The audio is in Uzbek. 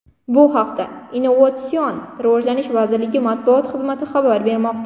Bu haqda Innovatsion rivojlanish vazirligi matbuot xizmati xabar bermoqda.